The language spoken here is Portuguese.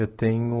Eu tenho